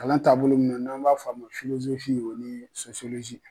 Kalan taabolo min na n'an b'a f'a ma o ni